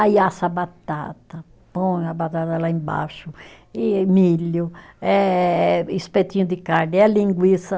Aí assa a batata, põe a batata lá embaixo, e milho, eh espetinho de carne, é linguiça.